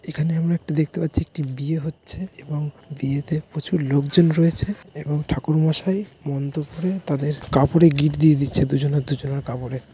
এখানে আমরা একটি দেখতে পাচ্ছি একটি বিয়ে হচ্ছে এবং বিয়েতে প্রচুর লোকজন রয়েছে এবং ঠাকুর মশাই মন্ত্র পড়ে তাদের কাপড়ে গিঁট দিয়ে দিচ্ছে দুজনের দুজনের কাপড়ে।